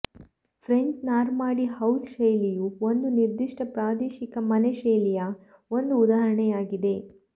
French Normandy house ಶೈಲಿಯು ಒಂದು ನಿರ್ದಿಷ್ಟ ಪ್ರಾದೇಶಿಕ ಮನೆ ಶೈಲಿಯ ಒಂದು ಉದಾಹರಣೆಯಾಗಿದೆ